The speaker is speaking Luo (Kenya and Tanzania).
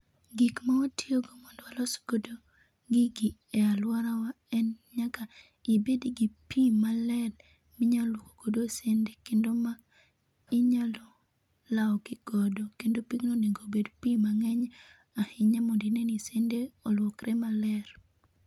Gik ma watiyogo mondo walso go gigi e alworawa en nyaka ibed gi pi maler minya lwokogo sende. Kendo ma inyalo lawogi godo, kendo pigno onegobed pi mang'eny ahinya mondi ne ni sende olwokre maler.